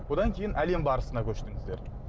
содан кейін әлем барысына көштіңіздер